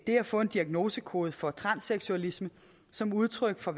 få en diagnosekode for transseksualisme som udtryk for